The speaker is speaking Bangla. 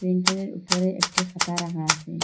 প্রিন্টারের উপরে একটি খাতা রাখা আসে।